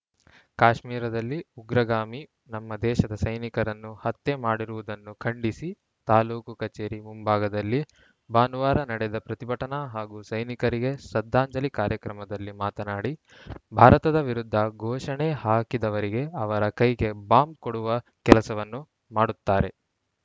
ಕಾಶ್ಮೀರದಲ್ಲಿ ಉಗ್ರಗಾಮಿ ನಮ್ಮ ದೇಶದ ಸೈನಿಕರನ್ನು ಹತ್ಯೆ ಮಾಡಿರುವುದನ್ನು ಖಂಡಿಸಿ ತಾಲೂಕು ಕಚೇರಿ ಮುಂಭಾಗದಲ್ಲಿ ಭಾನುವಾರ ನಡೆದ ಪ್ರತಿಭಟನಾ ಹಾಗೂ ಸೈನಿಕರಿಗೆ ಶ್ರದ್ಧಾಂಜಲಿ ಕಾರ್ಯಕ್ರಮದಲ್ಲಿ ಮಾತನಾಡಿ ಭಾರತದ ವಿರುದ್ಧ ಘೋಷಣೆ ಹಾಕಿದವರಿಗೆ ಅವರ ಕೈಗೆ ಬಾಂಬ್‌ ಕೊಡುವ ಕೆಲಸವನ್ನು ಮಾಡುತ್ತಾರೆ